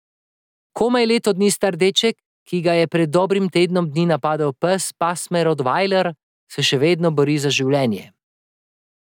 Komaj leto dni star deček, ki ga je pred dobrim tednom dni napadel pes pasme rotvajler, se še vedno bori za življenje.